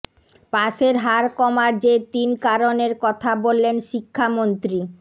পাসের হার কমার যে তিন কারণের কথা বললেন শিক্ষামন্ত্রী